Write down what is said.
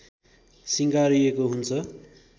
सिँगारिएकॊ हुन्छ